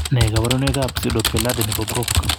Nee kabarunoikab Pseudopelade nebo Brocq?